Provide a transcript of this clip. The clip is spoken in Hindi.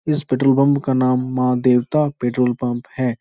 इस पेट्रोल पंप का नाम माँ देवता पेट्रोल पंप है।